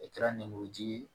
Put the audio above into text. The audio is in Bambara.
E kɛra lemuru ji ye